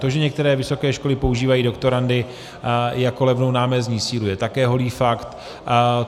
To, že některé vysoké školy používají doktorandy jako levnou námezdní sílu, je také holý fakt.